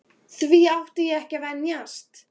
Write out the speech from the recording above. Því átti ég ekki að venjast.